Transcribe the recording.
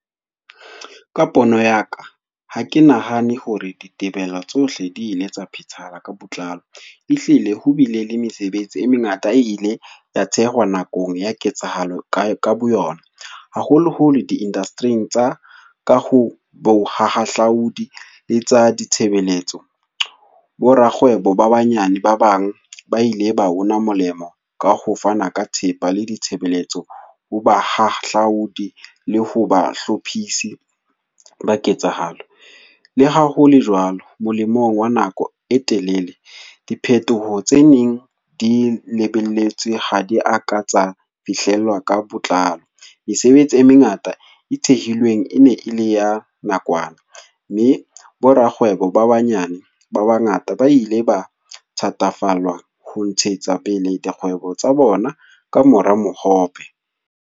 Ka pono ya ka, ha ke nahane hore ditebello tsohle di ile tsa phethahala ka botlalo, e hlile ho bile le mesebetsi e mengata e ile ya thehwa nakong ya ketsahalo ka boyona, haholoholo di-industry-ing tsa ka ho bohahlaudi le tsa ditshebeletso. Borakgwebo ba banyane ba bang ba ile ba una molemo ka ho fana ka thepa le ditshebeletso ho bahahlaudi le ho ba hlophisi ba ketsahalo. Le ha hole jwalo, molemong wa nako e telele diphetoho tse neng di lebelletswe ha di a ka tsa fihlellwa ka botlalo. Mesebetsi e mengata e thehilweng e ne e le ya nakwana, mme borakgwebo ba banyane ba bangata ba ile ba thatafallwa ho ntshetsa pele dikgwebo tsa bona ka mora mohope.